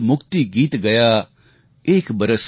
गूंज मुक्ति गीत गया